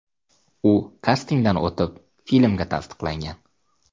U kastingdan o‘tib filmga tasdiqlangan.